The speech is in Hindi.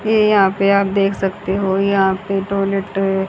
ये यहां पे आप देख सकते हो यह पे टॉयलेट है।